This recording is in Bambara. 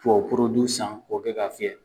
Tubabu san k'o kɛ ka fiyɛ.